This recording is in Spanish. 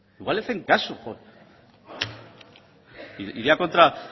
igual le hacen caso iría contra